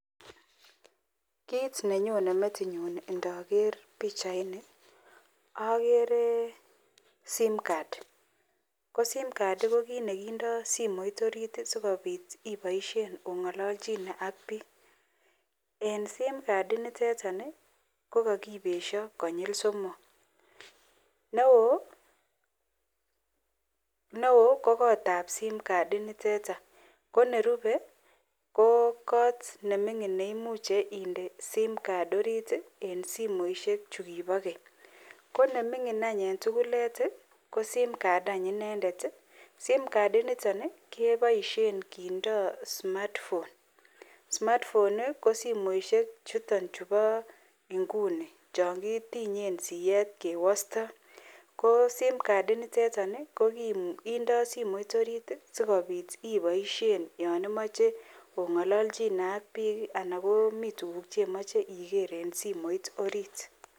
Kit nenyonen metit nyun ndaker bichait niton agere simcard ko simcard ko kit nekindoi simoit orit sikobit ibaishen kengololen AK bik en simcard initon kokakibesho konyil somok neon ko kot Nebo simcard initon konerube ko kot nemingin neimuche inde simcard orit en simoishek chukibo Keny konemingin en tugul kosimcard inendet ako simcard initon kobaishen kindo Cs smart phone cs ko Cs smart phone cs ko simoit chuton chubo inguni changiwostoen siet ako simcard initon ko kindo simoit orit sikobit ibaishen yanimache ongolonchine AK bik anan ko komiten tuguk cheimuche Iger en simoit orit